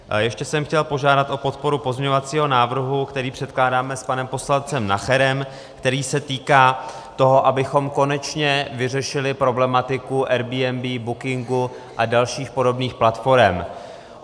Ještě jsem chtěl požádat o podporu pozměňovacího návrhu, který předkládáme s panem poslancem Nacherem, který se týká toho, abychom konečně vyřešili problematiku Airbnb, Bookingu a dalších podobných platforem.